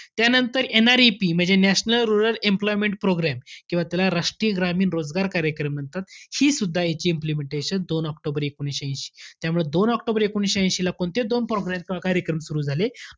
त्यानंतर NREP म्हणजे national rural employment program किंवा त्याला राष्ट्रीय ग्रामीण रोजगार कार्यक्रम म्हणतात. हि सुद्धा याची implementation दोन ऑक्टोबर एकोणवीसशे ऐशी. त्यामुळे दोन ऑक्टोबर एकोणवीसशे ऐशीला कोणते दोन program कार्यक्रम सुरु झाले?